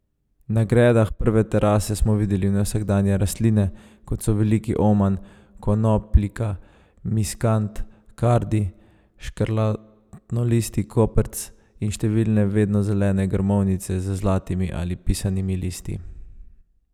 Na gredah prve terase smo videli nevsakdanje rastline, kot so veliki oman, konopljika, miskant, kardi, škrlatnolistni koprc in številne vednozelene grmovnice z zlatimi ali pisanimi listi.